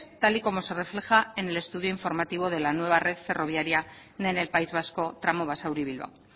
tal y como se refleja en el estudio informativo de la nueva red ferroviaria en el país vasco tramo basauri bilbao